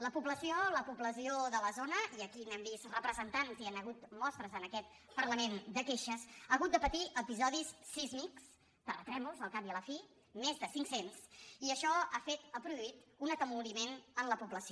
la pobla·ció la població de la zona i aquí n’hem vist repre·sentants i hi han hagut mostres en aquest parlament de queixes ha hagut de patir episodis sísmics terra·trèmols al cap i a la fi més de cinc·cents i això ha produït un atemoriment en la població